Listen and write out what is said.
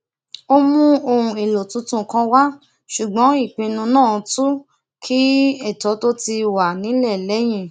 ó mú ohun èlò tuntun kan wá ṣùgbọn ìpinnu náà tún kín ètò tó ti wà nílẹ lẹyìn